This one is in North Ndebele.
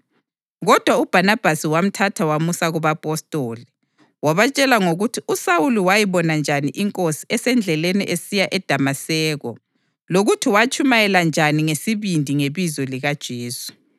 Kodwa uBhanabhasi wamthatha wamusa kubapostoli. Wabatshela ngokuthi uSawuli wayibona njani iNkosi esendleleni esiya eDamaseko lokuthi watshumayela njani ngesibindi ngebizo likaJesu.